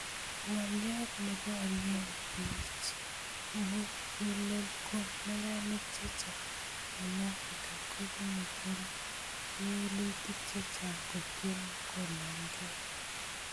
Ngolyot ne borei bich mugulel ko neranik chechang eng Africa kobunei kewelutik chechang kotiemei kolongekei